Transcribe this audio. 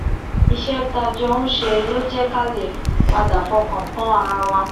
iṣé tá a jọ ń ṣe ló jé ká lè padà fọkàn tán ara wa